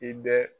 I bɛ